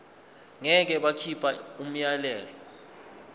ngeke bakhipha umyalelo